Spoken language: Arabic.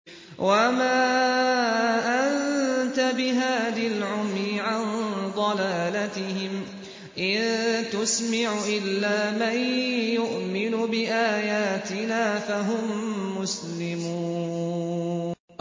وَمَا أَنتَ بِهَادِ الْعُمْيِ عَن ضَلَالَتِهِمْ ۖ إِن تُسْمِعُ إِلَّا مَن يُؤْمِنُ بِآيَاتِنَا فَهُم مُّسْلِمُونَ